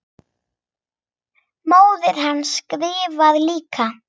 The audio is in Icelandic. Móðir hans skrifar líka.